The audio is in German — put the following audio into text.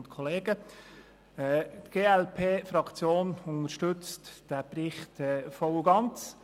Die glp-Fraktion unterstützt diesen Bericht voll und ganz.